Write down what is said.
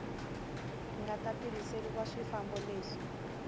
nga ta tirhiseriwa swifambo leswi